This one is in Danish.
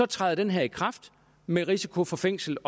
træder den her i kraft med risiko for fængsel